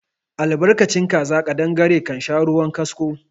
Albarkacin kaza ƙadangare kansha ruwan kasko